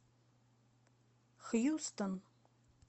хьюстон